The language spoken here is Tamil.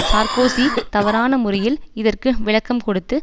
சார்க்கோசி தவறான முறையில் இதற்கு விளக்கம் கொடுத்து